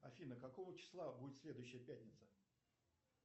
афина какого числа будет следующая пятница